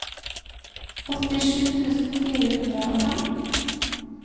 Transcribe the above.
åttisju tusen fire hundre og fem